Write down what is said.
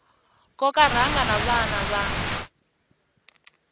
koka rhanga na vana va